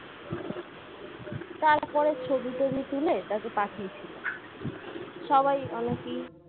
তারপরে ছবি-টবি তুলে তারপরে পাঠিয়েছিল সবাই অনেকই